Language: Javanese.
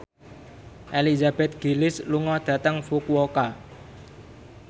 Elizabeth Gillies lunga dhateng Fukuoka